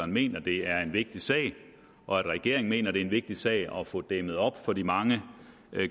mener det er en vigtig sag og at regeringen mener det er en vigtig sag at få dæmmet op for de mange